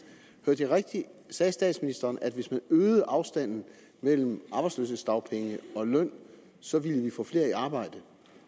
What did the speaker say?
hørte jeg rigtigt sagde statsministeren at hvis man øgede afstanden mellem arbejdsløshedsdagpenge og løn så ville vi få flere i arbejde